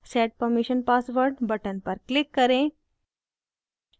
set permission password button पर click करें